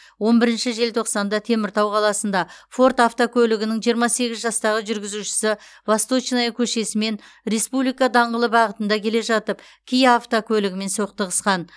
он бірінші желтоқсанда теміртау қаласында форд автокөлігінің жиырма сегіз жастағы жүргізушісі восточная көшесімен республика даңғылы бағытында келе жатып киа автокөлігімен соқтығысқан